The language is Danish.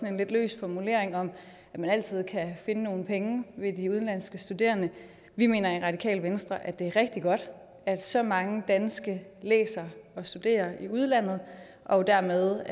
en lidt løs formulering om at man altid kan finde nogle penge via de udenlandske studerende vi mener i radikale venstre at det er rigtig godt at så mange danskere læser og studerer i udlandet og dermed